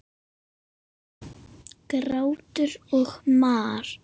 Grátur og mar.